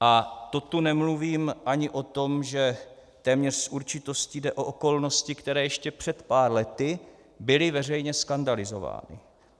A to tu nemluvím ani o tom, že téměř s určitostí jde o okolnosti, které ještě před pár lety byly veřejně skandalizovány.